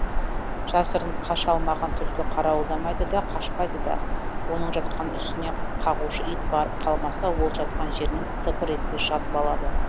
жасырынып қаша алмаған түлкі қарауылдамайды да қашпайды да оның жатқан үстіне қағушы ит барып қалмаса ол жатқан жерінен тыпыр етпей жатып алады